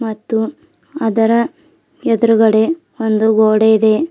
ಮತ್ತು ಅದರ ಎದ್ರುಗಡೆ ಒಂದು ಗೋಡೆ ಇದೆ.